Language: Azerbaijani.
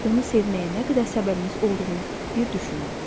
Onu sevməyə nə qədər səbəbiniz olduğunu bir düşünün.